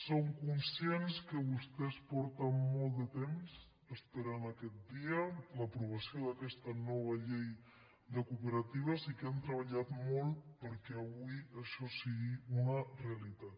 som conscients que vostès fa molt de temps que esperen aquest dia l’aprovació d’aquesta nova llei de cooperatives i que han treballat molt perquè avui això sigui una realitat